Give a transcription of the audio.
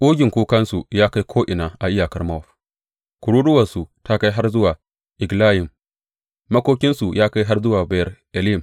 Ƙugin kukansu ya kai ko’ina a iyakar Mowab; kururuwarsu ta kai har zuwa Eglayim, makokinsu ya kai har zuwa Beyer Elim.